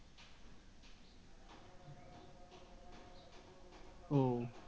ও